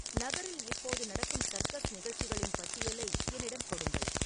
நகரில் இப்போது நடக்கும் சர்க்கஸ் நிகழ்ச்சிகளின் பட்டியலை என்னிடம் கொடுங்கள்